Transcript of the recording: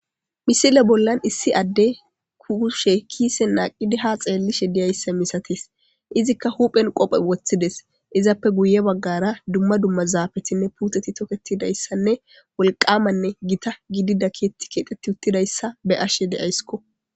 Misile bollani issi adeyi kushe kisseni naqidi ha xelishe deyesi izikka hupheni qobbe wothidesi izappe guye baggara duma duma zafeti woliqamane gitta gididayissa be'ashe deyayisi.